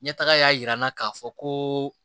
Ɲɛtaga y'a jira n na k'a fɔ ko